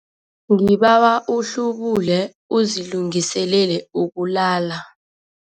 Ngibawa uhlubule uzilungiselele ukulala.